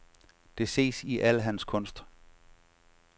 Det ses i al hans kunst.